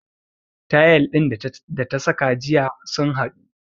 Tayal din da ta saka jiya sun haɗu